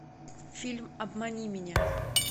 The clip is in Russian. фильм обмани меня